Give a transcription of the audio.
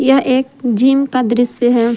यह एक जिम का दृश्य है।